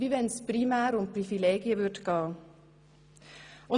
so, als würde es primär um Privilegien gehen.